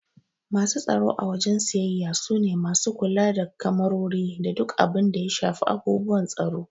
Masu tsaro a wajen siyayya su ne masu kula da kemarori da duk abun da ya shafi abubuwan tsaro.